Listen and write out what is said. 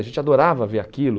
A gente adorava ver aquilo.